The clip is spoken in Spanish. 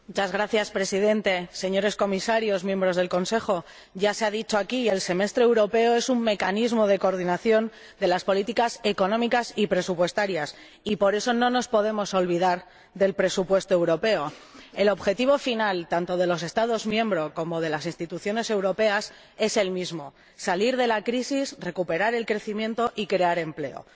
Señor Presidente, señores Comisarios, señores miembros del Consejo, ya se ha dicho aquí que el Semestre Europeo es un mecanismo de coordinación de las políticas económicas y presupuestarias, y por eso no nos podemos olvidar del presupuesto europeo. El objetivo final, tanto de los Estados miembros como de las Instituciones europeas, es el mismo salir de la crisis, recuperar el crecimiento y crear empleo.